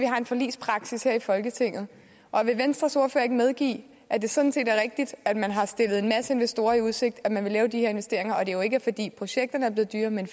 har en forligspraksis her i folketinget vil venstres ordfører ikke medgive at det sådan set er rigtigt at man har stillet en masse investorer i udsigt at man vil lave de her investeringer og at det jo ikke er fordi projekterne er blevet dyrere men